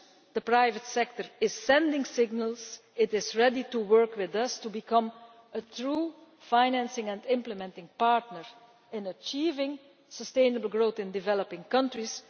The private sector is sending signals that it is ready to work with us to become a true financing and implementing partner in achieving sustainable growth in developing countries.